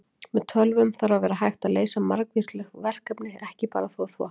Með tölvum þarf að vera hægt að leysa margvísleg verkefni, ekki bara að þvo þvott!